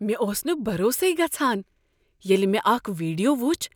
مےٚ اوس نہٕ بھروسے گژھان ییٚلہ مےٚ اکھ ویڈیو وُچھ